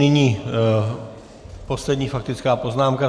Nyní poslední faktická poznámka.